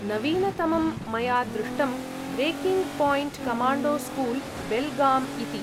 नवीनतमं मया दृष्टं 'ब्रेकिङ्ग् पायिण्ट्कमाण्डो स्कूल्, बेल्गाम्' इति ।